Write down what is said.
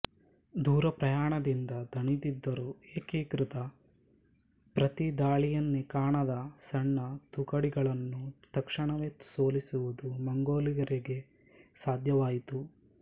ದೂರಪ್ರಯಾಣದಿಂದ ದಣಿದಿದ್ದರೂ ಏಕೀಕೃತ ಪ್ರತಿ ದಾಳಿಯನ್ನೇ ಕಾಣದೇ ಸಣ್ಣ ತುಕಡಿಗಳಾನ್ನು ತಕ್ಷಣವೇ ಸೋಲಿಸುವುದು ಮಂಗೋಲರಿಗೆ ಸಾಧ್ಯವಾಯಿತು